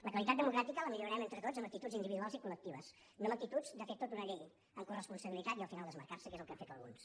la qualitat democràtica la millorem entre tots amb actituds individuals i col·lectives no amb actituds de fer tota una llei en coresponsabilitat i al final desmarcar se’n que és el que han fet alguns